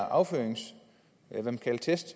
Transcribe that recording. affyringstest